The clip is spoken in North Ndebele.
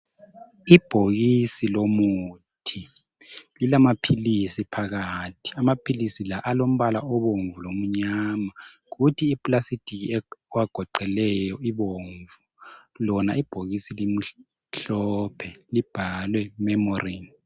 Ibhokisi lomuthi lilamaphilisi phakathi, amaphilisi la alombala obomvu lomnyama kuthi ipulasitiki ewagoqeleyo libomvu lona ibhokisi limhlophe libhalwe memorin.